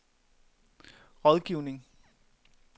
rådgivning